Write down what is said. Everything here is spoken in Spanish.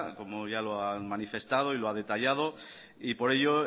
como ya lo ha manifestado y lo ha detallado y por ello